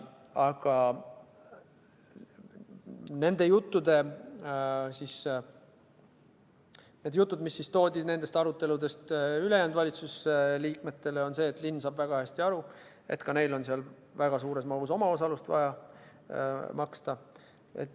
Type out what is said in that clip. Aga need jutud, mis jõudsid nendest aruteludest ülejäänud valitsusliikmeteni, olid sellised, et linn saab väga hästi aru, et ka tal on siin väga suur omaosalus vaja maksta.